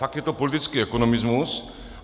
Fakt je to politický ekonomismus.